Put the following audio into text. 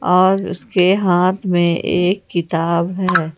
और उसके हाथ में एक किताब है ।